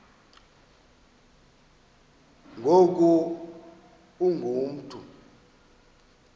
ngoku ungu mntu